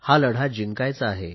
हा लढा जिंकायचा